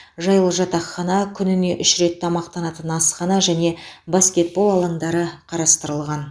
жайлы жатақхана күніне үш рет тамақтанатын асхана және баскетбол алаңдары қарастырылған